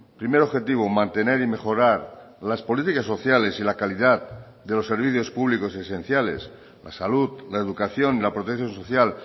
primer objetivo mantener y mejorar las políticas sociales y la calidad de los servicios públicos esenciales la salud la educación la protección social